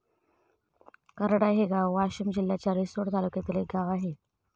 करडा हे गाव वाशीम जिल्ह्याच्या रिसोड तालुक्यातील एक गाव आहे.